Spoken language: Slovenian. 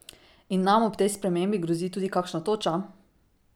In nam ob tej spremembi grozi tudi kakšna toča?